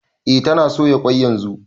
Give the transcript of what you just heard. E tana soya ƙwai yanzu